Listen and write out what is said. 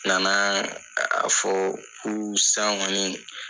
U nana a fɔ ko sisan kɔni